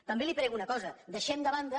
també li prego una cosa deixem de banda